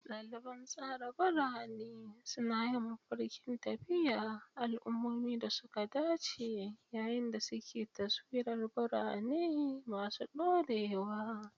Daliban tsara birane suna yin mafarkin tafiya, al'ummomin da suka dace yayin da suke taswirar birane masu dorewa.